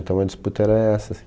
Então, a disputa era essa,